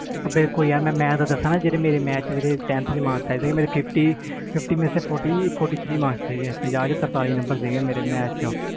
ਮੈਂ ਦਸਾ ਮੇਰੇ ਜਿਹੜੇ tenth ਵਿਚ marks ਆਏ ਸੀ fifty ਵਿੱਚੋ fourty three ਪੰਜਾਹ ਵਿੱਚੋ ਤਾਰਤਾਲੀ ਨੰਬਰ ਆਏ ਸੀ